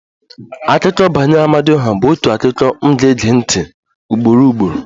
Akụkọ banyere Amadioha bụ otu akụkọ m ga-ege ntị ugboro ugboro